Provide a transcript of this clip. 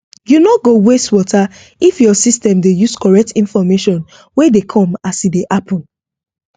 you no go waste water if your system dey use correct information wey dey come as e dey happen